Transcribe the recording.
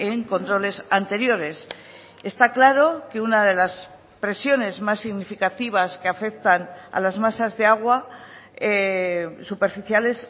en controles anteriores está claro que una de las presiones más significativas que afectan a las masas de agua superficiales